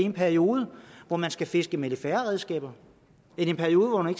en periode hvor man skulle fiske med lidt færre redskaber en periode hvor man